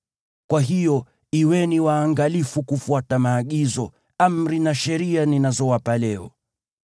Kwa hiyo, kuweni waangalifu kufuata maagizo, amri na sheria ninazowapa leo.